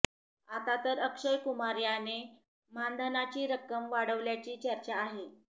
आतातर अक्षय कुमार याने मानधनाची रक्कम वाढवल्याची चर्चा आहे